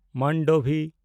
ᱢᱟᱱᱰᱚᱵᱷᱤ